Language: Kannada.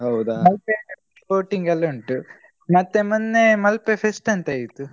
ಮಲ್ಪೆಯಲ್ಲಿ boating ಎಲ್ಲ ಉಂಟು ಮತ್ತೇ ಮೊನ್ನೆ ಮಲ್ಪೆ fest ಅಂತಾಯ್ತು.